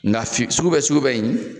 Nga fi sugu bɛ sugu bɛ in